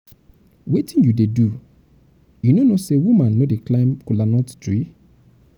wetin you dey do? you no know say woman no dey climb kola nut tree.